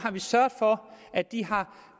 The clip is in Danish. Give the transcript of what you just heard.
sørget for at de har